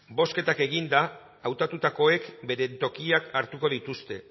bozketak eginda hautatutakoek beren tokiak hartuko dituzte